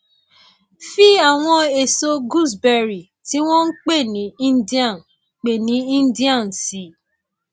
fi àwọn èso gooseberry tí wọn ń pè ní indian pè ní indian sí i